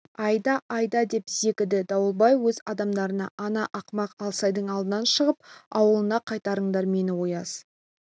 айда айда деп зекіді дауылбай өз адамдарына ана ақымақ алсайдың алдынан шығып ауылына қайтарыңдар мені ояз